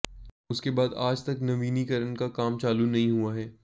उसके बाद आज तक नवीनीकरण का काम चालू नहीं हुआ हैं